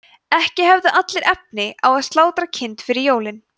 ekki höfðu allir efni á að slátra kind fyrir jólin